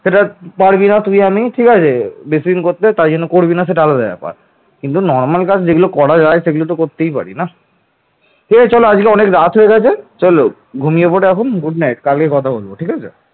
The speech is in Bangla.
সেটা পারবো না তুই আমি ঠিক আছে বেশি দিন করতে দেয় তাই সেটা করবি না আলাদা ব্যাপার কিন্তু normal কাজ যেটা করা যায় সেগুলো তো করতেই পারি না ঠিক আছে চল অনেক রাত হয়ে গেছে চল ঘুমিয়ে পর এখন good night কালকে কথা বলবো কেমন